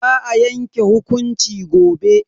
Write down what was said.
Za a yanke hukunci gobe.